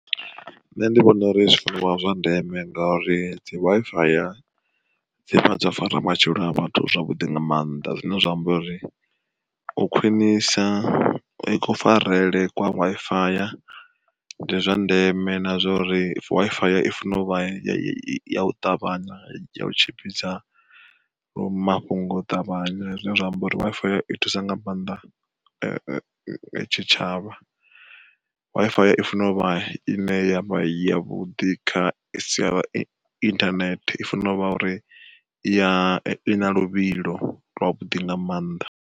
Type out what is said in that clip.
Nṋe ndi vhona uri zwi ndi zwa ndeme ngauri dzi Wi-Fi dzi vha dzo fara matshilo a vhathu zwavhuḓi nga maanḓa, zwine zwa amba uri u khwiṋisa kufarele kwa Wi-Fi ya ndi zwa ndeme na zwa uri Wi-Fi ya i fanela uvha yau ṱavhanya mafhungo u ṱavhanya zwine zwa amba uri WiFi ya i thusa nga maanḓa tshitshavha. Wi-Fi ya i funa uvha ine yavha yavhuḓi kha sia ḽa inthanethe i fanovha uri ina luvhilo lwa vhuḓi nga mannḓa.